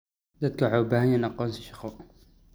Dadku waxay u baahan yihiin aqoonsi shaqo.